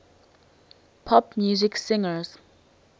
pop music singers